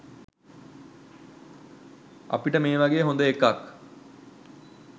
අපිට මේ වගේ හොඳ එකක්